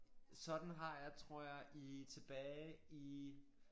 Sådan har jeg tror jeg i tilbage i